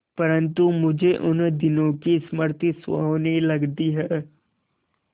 परंतु मुझे उन दिनों की स्मृति सुहावनी लगती है